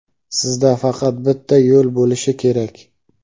sizda faqat bitta yo‘l bo‘lishi kerak.